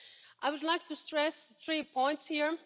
I would like to stress three points here.